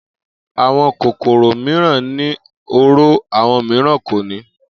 Àwo̩n kòkòrò mìíràn ní oró, àwo̩n mìíràn kò ní